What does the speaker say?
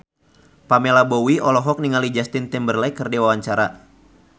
Pamela Bowie olohok ningali Justin Timberlake keur diwawancara